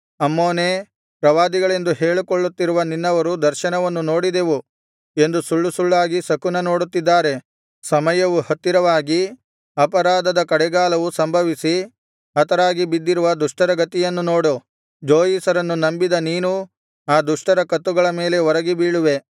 ಅಮ್ಮೋನೇ ಪ್ರವಾದಿಗಳೆಂದು ಹೇಳಿಕೊಳ್ಳುತ್ತಿರುವ ನಿನ್ನವರು ದರ್ಶನವನ್ನು ನೋಡಿದೆವು ಎಂದು ಸುಳ್ಳು ಸುಳ್ಳಾಗಿ ಶಕುನ ಹೇಳುತ್ತಿದ್ದಾರೆ ಸಮಯವು ಹತ್ತಿರವಾಗಿ ಅಪರಾಧದ ಕಡೆಗಾಲವು ಸಂಭವಿಸಿ ಹತರಾಗಿ ಬಿದ್ದಿರುವ ದುಷ್ಟರ ಗತಿಯನ್ನು ನೋಡು ಜೋಯಿಸರನ್ನು ನಂಬಿದ ನೀನೂ ಆ ದುಷ್ಟರ ಕತ್ತುಗಳ ಮೇಲೆ ಒರಗಿ ಬೀಳುವೆ